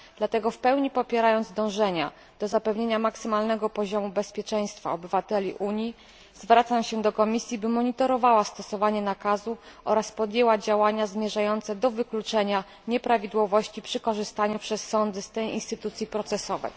Dlatego w pełni popierając dążenia do zapewnienia maksymalnego poziomu bezpieczeństwa obywateli Unii, zwracam się do Komisji, by monitorowała stosowanie nakazu oraz podjęła działania zmierzające do wykluczenia nieprawidłowości przy korzystaniu przez sądy z tej instytucji procesowej.